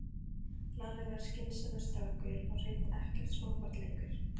Lalli er skynsamur strákur og hreint ekkert smábarn lengur.